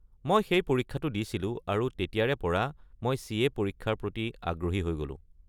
মই সেই পৰীক্ষাটো দিছিলোঁ আৰু তেতিয়াৰে পৰা মই চি.এ. পৰীক্ষাৰ প্ৰতি আগহী হৈ গ’লো।